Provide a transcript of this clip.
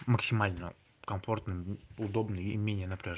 максимально комфортный удобный и менее напряжный